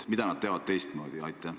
Mida nad teevad teistmoodi?